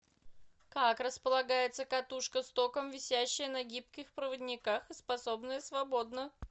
как располагается катушка с током висящая на гибких проводниках и способная свободно